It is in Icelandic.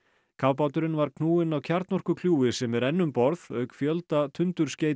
kafbáturinn var knúinn af sem er enn um borð auk fjölda